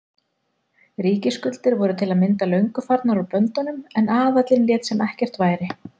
Ríkisskuldir voru til að mynda löngu farnar úr böndunum en aðallinn lét sem ekkert væri.